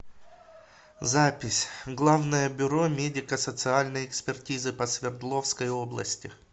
запись главное бюро медико социальной экспертизы по свердловской области